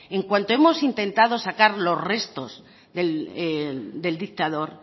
en cuanto hemos intentado sacar los restos del dictador